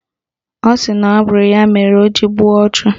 Ọ sịrị na ọ bụ ya mere o ji gbuo ọchụ